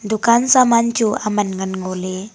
dukan saman chu aman ngan ngo le.